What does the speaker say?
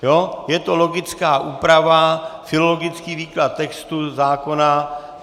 Je to logická úprava, filologický výklad textu zákona.